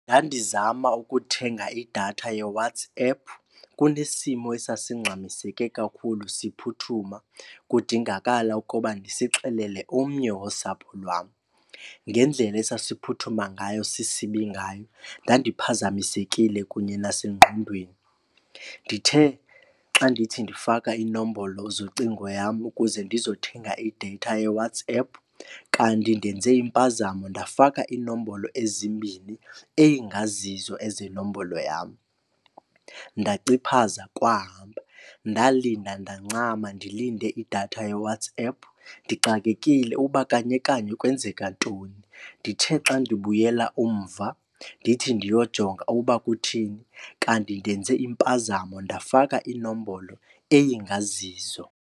Ndandizama ukuthenga idatha yeWhatsApp kunesimo esasingxamiseke kakhulu siphuthuma kudingakala ukuba ndisixelele omnye wosapho lwam. Ngendlela esasiphuthuma ngayo sisibi ngayo ndandiphazamisekile kunye nasengqondweni. Ndithe xa ndithi ndifaka inombolo zocingo yam ukuze ndizothenga ideyitha yeWhatsApp kanti ndenze impazamo ndafaka inombolo ezimbini engazizo ezenombolo yam. Ndaciphaza kwahamba. Ndalinda ndancama ndilinde idatha yeWhatsApp ndixakekile uba kanye kanye kwenzeka ntoni. Ndithe xa ndibuyela umva ndithi ndiyojonga uba kutheni, kanti ndenze impazamo ndafaka inombolo eyingazizo.